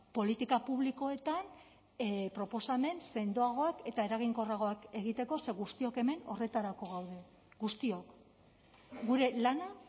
politika publikoetan proposamen sendoagoak eta eraginkorragoak egiteko ze guztiok hemen horretarako gaude guztiok gure lana